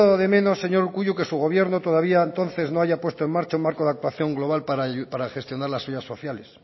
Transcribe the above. de menos señor urkullu que su gobierno todavía entonces no haya puesto en marcha un marco de actuación global para gestionar las ayudas sociales